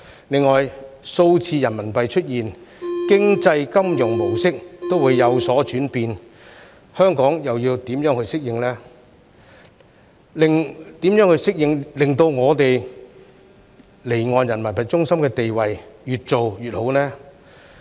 另外，數字人民幣出現，經濟金融模式都會有所轉變，香港又要怎樣去適應，令我們離岸人民幣中心的地位越做越好呢？